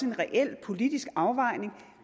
en reel politisk afvejning